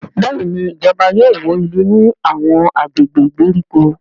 Béèni ìjọba yóò wọ ilé ní Àwọn agbègbè ìgbèríko.